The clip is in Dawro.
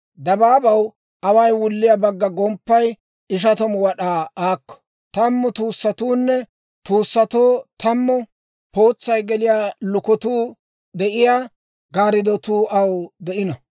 «Dabaabaw away wulliyaa bagga gomppay ishatamu wad'aa aakko; tammu tuussatuunne, tuussatoo tammu pootsay geliyaa lukatuu de'iyaa gaariddotuu aw de'ino.